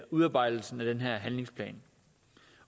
udarbejdelsen af den her handlingsplan